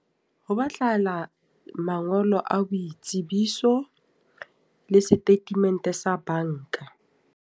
Ho batlahala mangolo a boitsebiso, le statement sa banka.